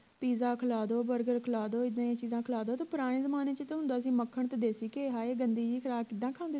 pizza ਖਿਲਾ ਦੋ burger ਖਿਲਾ ਦੋ ਇੱਦਾਂ ਦੀਆਂ ਚੀਜ਼ਾਂ ਖਿਲਾ ਦੋ ਤੇ ਪੁਰਾਣੇ ਜਮਾਨੇ ਚ ਤਾਂ ਹੁੰਦਾ ਸੀ ਮੱਖਣ ਤੇ ਦੇਸੀ ਘੈ ਹਾਏ ਗੰਦੀ ਜੀ ਤਰ੍ਹਾਂ ਕਿੱਦਾਂ ਖਾਂਦੇ ਸੀ